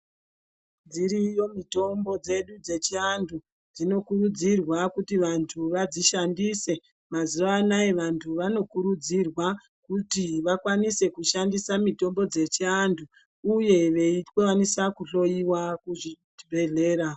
Dziriyo mitombo dzedu dzechivantu dzinokurudzurwa kuti vantu dzinokurudzurwa kuti vantu vadzishandise mazuva anawa vantu vanokurudzirwa vashandise mitombo dzechivantu uye veikwanisa kuhloiwa kuzvibhedhlera.